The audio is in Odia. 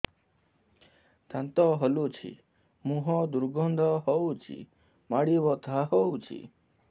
ଦାନ୍ତ ହଲୁଛି ମୁହଁ ଦୁର୍ଗନ୍ଧ ହଉଚି ମାଢି ବଥା ହଉଚି